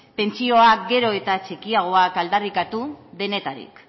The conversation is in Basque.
pentsioak gero eta txikiagoak aldarrikatu denetarik